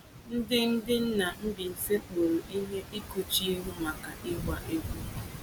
Ndị Ndị nna Mbaise kpụrụ ihe ịkpuchi ihu maka ịgba egwu.